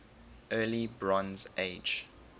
early bronze age